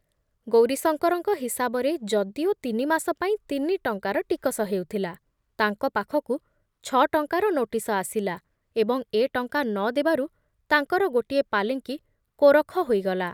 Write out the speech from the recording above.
ଗୌରୀଶଙ୍କରଙ୍କ ହିସାବରେ ଯଦିଓ ତିନିମାସ ପାଇଁ ତିନି ଟଙ୍କାର ଟିକସ ହେଉଥିଲା, ତାଙ୍କ ପାଖକୁ ଛ ଟଙ୍କାର ନୋଟିସ ଆସିଲା ଏବଂ ଏ ଟଙ୍କା ନ ଦେବାରୁ ତାଙ୍କର ଗୋଟିଏ ପାଲିଙ୍କି କୋରଖ ହୋଇଗଲା ।